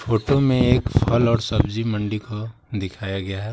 Photo में एक फल और सब्जी मंडी को दिखाया गया है।